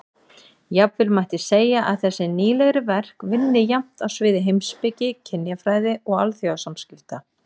Jafnvel mætti segja að þessi nýlegri verk vinni jafnt á sviði heimspeki, kynjafræði og alþjóðasamskipta.